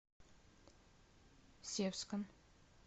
севском